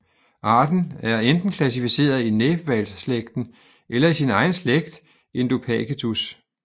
Arten er enten klassificeret i næbhvalsslægten eller i sin egen slægt indopacetus